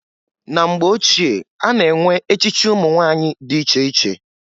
Na mgbe ochie a na-enwe echichi umunwanyị dị iche iche.